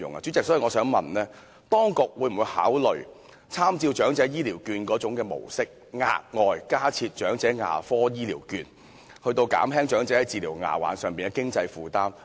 主席，我想詢問，當局會否考慮參照長者醫療券的模式，額外加設長者牙科醫療券，以減輕長者治療牙患的經濟負擔？